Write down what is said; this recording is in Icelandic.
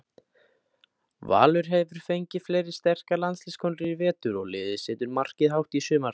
Valur hefur fengið fleiri sterkar landsliðskonur í vetur og liðið setur markið hátt í sumar.